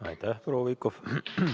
Aitäh, proua Pikhof!